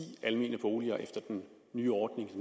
almene boliger efter den nye ordning